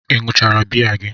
Ị ṅụchara biya gị?